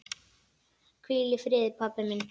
Hvíl í friði pabbi minn.